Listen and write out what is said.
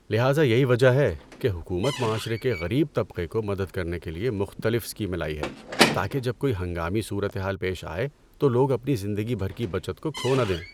لہذا یہی وجہ ہے کہ حکومت معاشرے کے غریب طبقے کو مدد کرنے کے لیے مختلف اسکیمیں لائی ہے، تاکہ جب کوئی ہنگامی صورتحال پیش آئے تو لوگ اپنی زندگی بھر کی بچت کو کھو نہ دیں۔